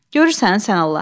Görürsən, sən Allah.